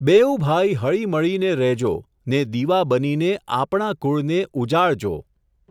બેઉ ભાઈ હળીમળીને રહેજો, ને દીવા બનીને આપણા કુળને ઉજાળજો.